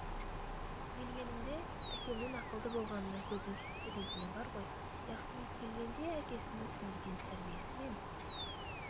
келгенімде әкемнің ақылды болғанына көзім жетті дейтіні бар ғой яғни келгенде әкесінің сіңірген тәрбиесі мен